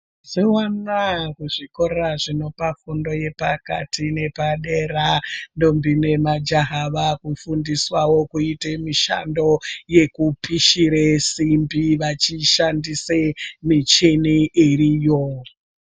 Mazuwa anaa kuzvikora zvinopa fundo yepakati nepadera ndombi nemajaha vakufundiswawo kuite mishando yekupishire simbi vechishandise michini iriyo.